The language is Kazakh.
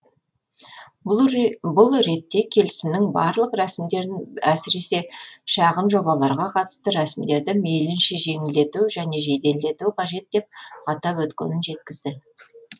бұл ретте келісімнің барлық рәсімдерін әсіресе шағын жобаларға қатысты рәсімдерді мейлінше жеңілдету және жеделдету қажет деп атап өткенін жеткізді